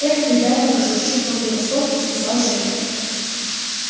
эх ты дай покажу с чувством превосходства сказал женька